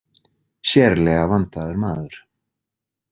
Sérlega vandaður maður.